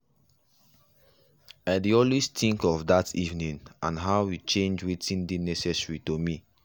i dey always think of that evening and how e change wetin dey necessary to me.